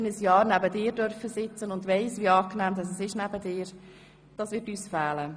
Ich durfte immerhin ein Jahr neben dir sitzen und weiss, wie angenehm es neben dir ist.